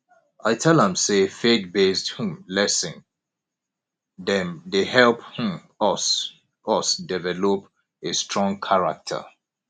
i tell am sey faithbased um lesson dem dey help um us us develop a strong character